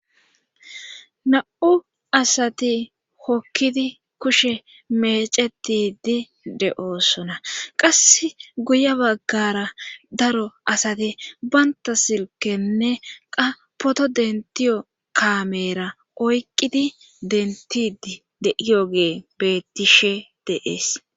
Na7u asati hokkidi kushe mecetidi de7oosona qass guye baggara daro asati banta silkenne qapoto dentiyo kamera oykqidi dentidi deiyo gee bettishe deees